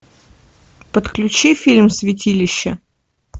подключи фильм святилище